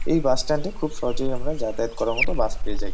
এই bus stand -এ খুব সহজেই আমরা যাতায়াত করার মতো বাস পেয়ে যাই ।